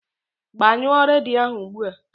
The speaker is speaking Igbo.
Gbanyụọ redio ahu ụgbụa!